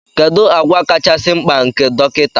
Kedu àgwà kachasị mkpa nke dọkịta